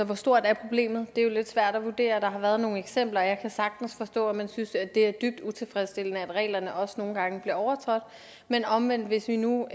hvor stort er problemet det er jo lidt svært at vurdere der har været nogle eksempler og jeg kan sagtens forstå at man synes det er dybt utilfredsstillende at reglerne også nogle gange bliver overtrådt men omvendt hvis vi nu